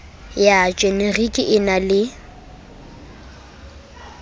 ya jenerike e na le